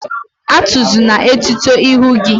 Atuzina etuto ihu gi!